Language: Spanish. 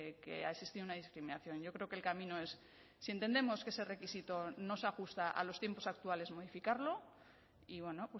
que ha existido una discriminación yo creo que el camino es si entendemos que ese requisito no se ajusta a los tiempos actuales modificarlo y bueno